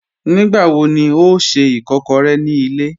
Nígbàwọ̀ ní ọ̀ n ṣẹ́ ìkàkọ̀rẹ̀ ní ilẹ̀?